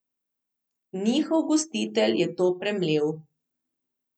Njihov gostitelj je to premlel.